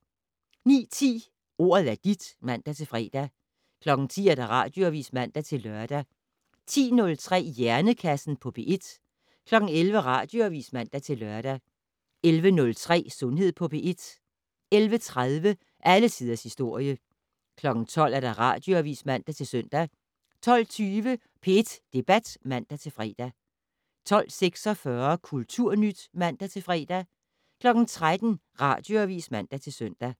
09:10: Ordet er dit (man-fre) 10:00: Radioavis (man-lør) 10:03: Hjernekassen på P1 11:00: Radioavis (man-lør) 11:03: Sundhed på P1 11:30: Alle tiders historie 12:00: Radioavis (man-søn) 12:20: P1 Debat (man-fre) 12:46: Kulturnyt (man-fre) 13:00: Radioavis (man-søn)